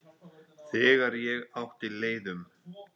Þegar ég átti leið um